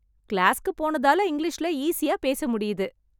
கிளாஸ்க்கு போனதால இங்கிலீஷிலே ஈஸியா பேச முடியுது.